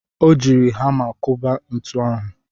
Ọ jiiri hama kụba ntu ahụ.